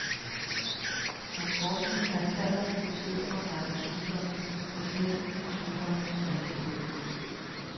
Hans forskning har især været fokuseret på en række sygdomme hos hesten og sygdomme hos malkekvæget.